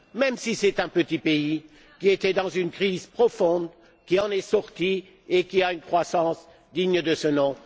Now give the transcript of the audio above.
Même si c'est un petit pays qui était dans une crise profonde, il en est sorti et il a une croissance digne de ce nom.